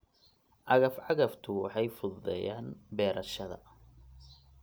Cagaf-cagaftu waxay fududeeyaan beerashada.